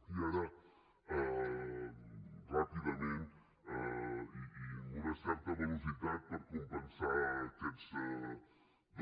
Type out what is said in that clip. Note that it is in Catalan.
i ara ràpidament i amb una certa velocitat per compensar aquests